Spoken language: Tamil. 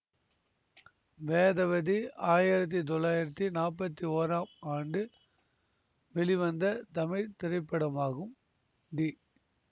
வேதவதி ஆயிரத்தி தொள்ளாயிரத்தி நாற்பத்தி ஓராம் ஆண்டு வெளிவந்த தமிழ் திரைப்படமாகும் டி